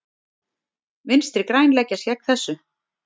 Vinstri græn leggjast gegn þessu.